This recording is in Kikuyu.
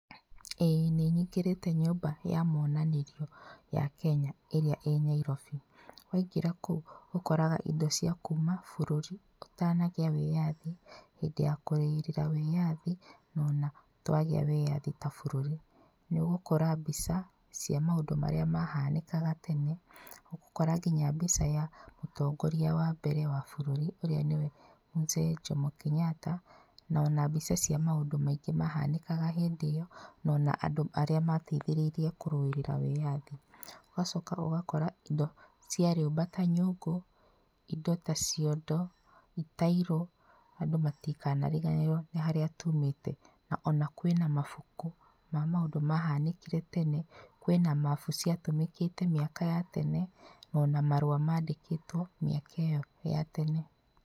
Ĩĩ nĩnyingĩrĩte nyũmba ya monanĩrio ya Kenya ĩrĩa ĩ Nyairobi. Waingĩra kũu ũkoraga indo cia kuma bũrũri ũtanagĩa wĩyathi, hĩndĩ ya kũrũĩrĩra wĩyathi na ona twagĩa wĩyathi ta bũrũri. Nĩũgũkora mbica cia maũndũ marĩa mahanĩkaga tene, nĩũgũkora nginya mbica ya mũtongoria wa mbere wa bũrũri ũrĩa nĩwe Mzee Jomo Kenyatta, na ona mbica cia maũndũ maingĩ maũndũ maingĩ mahanĩkaga hĩndĩ ĩyo na ona andũ arĩa mateithĩrĩirie kũrũĩrĩra wĩyathi. Ũgacoka ũgakora indo cia rĩũmba ta nyũngũ, indo ta ciondo, itairũ, andũ matikanariganĩrwo nĩ harĩa tumĩte. Ona kwĩna mabuku ma maũndu mahanĩkire tene, kwĩna mabu ciatũmĩkĩte mĩaka ya tene, ona marũa mandĩkĩtwo mĩaka ĩyo ya tene.